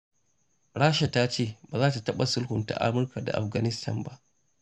Rasha ta ce ba za ta taɓa sulhunta Amurka da Afghanistan ba.